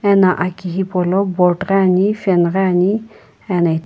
ena aki hipaulo board ghi ani fan ghi ani ena.